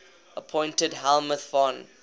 appointed helmuth von